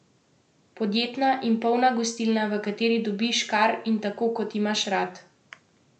Podjetna in polna gostilna, v kateri dobiš, kar in tako kot imaš rad.